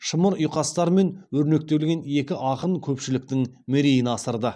шымыр ұйқастармен өрнектеген екі ақын көпшіліктің мерейін асырды